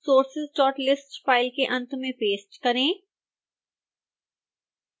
sourceslist file के अंत में पेस्ट करें